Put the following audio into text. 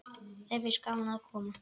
Þeim finnst gaman að koma.